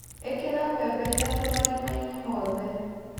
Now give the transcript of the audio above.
ĩkĩra mbembe ithatũ marimainĩ mothe.